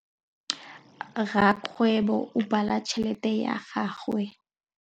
Rakgwêbô o bala tšheletê ya gagwe.